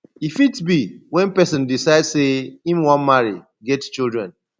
e fit be when person decide sey im wan marry get children